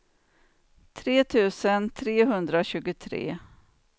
tre tusen trehundratjugotre